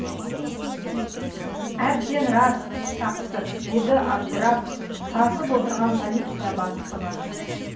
әбден рас тақсыр деді абдырап сасып отырған полиция бастығы